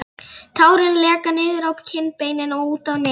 Tárin leka niður á kinnbeinin og út á nefið.